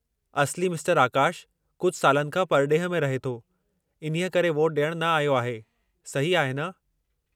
असली मिस्टरु आकाशु कुझु सालनि खां परॾेह में रहे थो, इन्हीअ करे वोट ॾियणु न आयो आहे, सही आहे न?